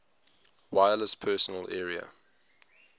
wireless personal area